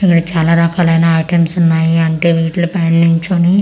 ఇందులో చాలా రకాలైన ఐటమ్స్ ఉన్నాయి అంటే వీటిలో పైన్ నించోని --